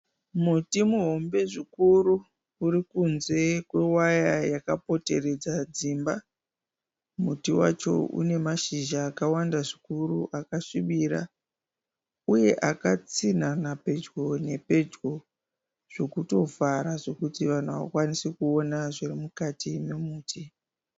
Muti muhombe zvikuru uri kunze kwewaya yaka poteredza dzimba. Muti wacho une mashizha akawanda zvikuru akasvibira uye akatsinhanha pedyo nepedyo zvekuto vhara zvekuti vanhu havakwanise kuona zviri mukati memuti.